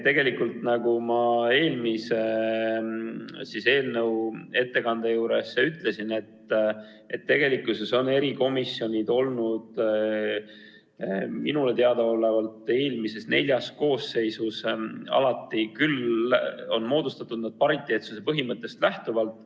Nagu ma eelmise eelnõu ettekandes ütlesin, tegelikkuses on erikomisjonid minule teadaolevalt eelmises neljas koosseisus alati moodustatud pariteetsuse põhimõttest lähtuvalt.